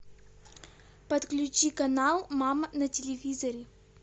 подключи канал мама на телевизоре